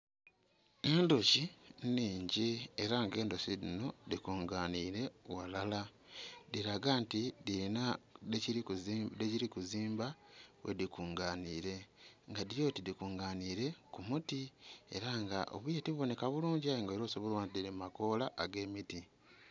Endhoki nnhingi era nga endhoki dhinho dhi kunganhire ghalala dhilaga nti dhilina dhekili kuzimba ghe dhi kunganhire nga dhilyoti dhikunganhire ku muti era nga obwire to bibonheka bulungi aye nag era osobola okubonha nti dhili mu makoola agemiti.